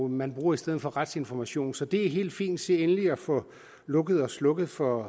man bruger i stedet for retsinformation så det er helt fint se endelig at få lukket og slukket for